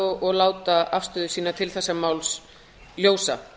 og láta afstöðu sína til þessa máls ljósa